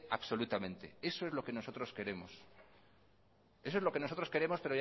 absolutamente eso es lo que nosotros queremos eso es lo que nosotros queremos